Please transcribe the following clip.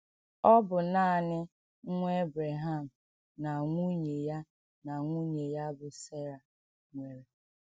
Ọ bụ nanị nwa Èbrèham na nwunye ya na nwunye ya bụ́ Sera nwere.